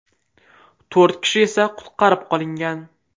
To‘rt kishi esa qutqarib qolingan.